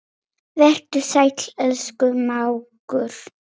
Vertu sæll, elsku mágur.